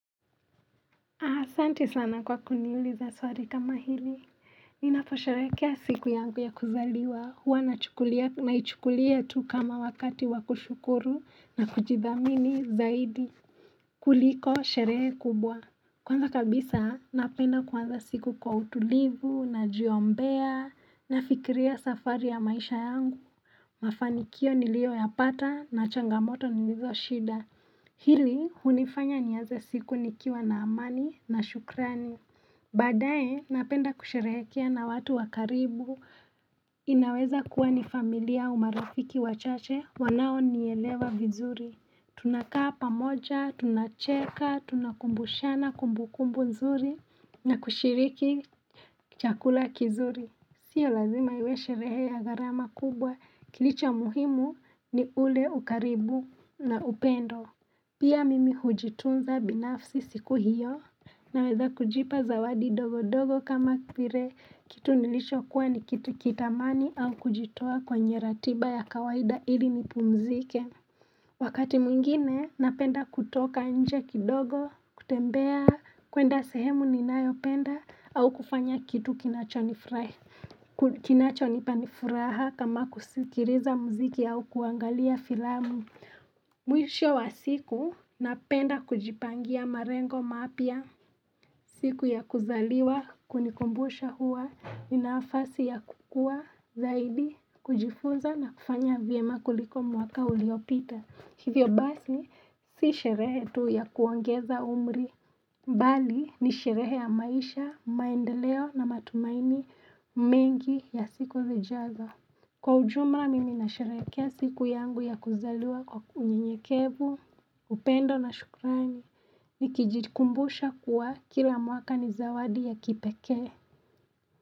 Asanti sana kwa kuniliuza swari kama hili. Ninaposherehekea siku yangu ya kuzaliwa. Huwa naichukulia tu kama wakati wa kushukuru na kujidhamini zaidi. Kuliko sherehe kubwa. Kwanza kabisa napenda kuanza siku kwa utulivu najiombea nafikiria safari ya maisha yangu. Mafanikio niliyoyapata na changamoto nilizoshida. Hili hunifanya nianze siku nikiwa na amani na shukrani. Baadaye napenda kusherehekea na watu wa karibu. Inaweza kuwa ni familia au marafiki wachache wanaonielewa vizuri. Tunakaa pamoja, tunacheka, tunakumbushana kumbukumbu nzuri na kushiriki chakula kizuri. Sio lazima iwe sherehe ya gharama kubwa kilicho muhimu ni ule ukaribu na upendo. Pia mimi hujitunza binafsi siku hiyo, naweza kujipa zawadi dogo dogo kama vire, kitu nilichokuwa ni kitu kitamani au kujitoa kwenye ratiba ya kawaida ili nipumzike. Wakati mwingine, napenda kutoka nje kidogo, kutembea, kuenda sehemu ninayopenda au kufanya kitu kinachonipa ni furaha kama kusikiliza muziki au kuangalia filamu. Mwisho wa siku napenda kujipangia marengo mapya siku ya kuzaliwa kunikumbusha huwa ni nafasi ya kukua zaidi kujifunza na kufanya vyema kuliko mwaka uliopita Hivyo basi si sherehe tu ya kuongeza umri bali ni sherehe ya maisha, maendeleo na matumaini mengi ya siku zijazo Kwa ujumra mimi nasharehekea siku yangu ya kuzaliwa kwa unyenyekevu, upendo na shukrani, nikijikumbusha kuwa kila mwaka ni zawadi ya kipekee.